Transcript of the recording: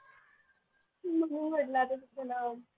म्हणून म्हटलं आता तुझं नाव